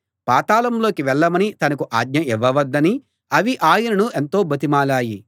పాతాళంలోకి వెళ్ళమని తనకు ఆజ్ఞ ఇవ్వవద్దని అవి ఆయనను ఎంతో బతిమాలాయి